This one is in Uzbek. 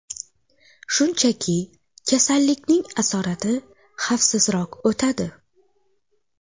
Shunchaki kasallikning asorati xavfsizroq o‘tadi.